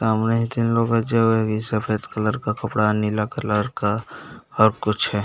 सामने के लोग है जो है की सफ़ेद कलर का कपड़ा नीला कलर का और कुछ है।